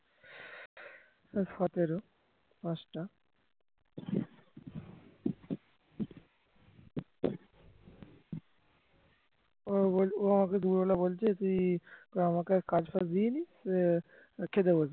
ও বলছে ও আমাকে দুপুরবেলা বলছে তুই আমাকে কাজবাজ দিস নি খেতে বসেছে